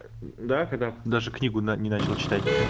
да когда даже книгу не начала читать